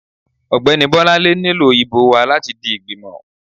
ọgbẹni Bolanle nílò ibò wa latí di ìgbímò